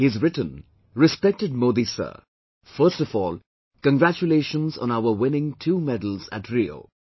He has written "Respected Modi Sir, first of all, congratulations on our winning two medals at Rio